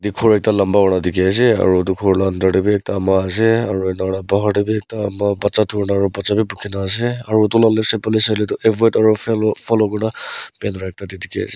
ghor ekta lanba kurna dikhi asey aro etu ghor la under deh wi ekta ama asey aro ena kurna bahar deh wi ekta ama baccha durna aro baccha wi bukhina asey aro etu ka left side phale saileh du follow kurna banner ekta dikhi asey.